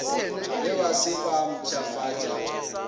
ge ba se ba mpshafatša